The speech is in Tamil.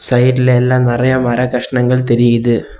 சைடுல எல்ல நிறைய மரகஷ்னங்கள் தெரியுது.